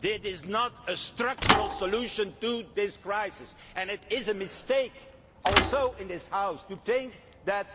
this is not a structural solution to this crisis and it is a mistake to think in this House that,